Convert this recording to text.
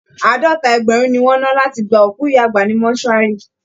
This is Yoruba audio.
Àádọ́ta ẹgbẹ̀rún ni wọ́n ná láti gba òkú ìyá àgbà ní mortuary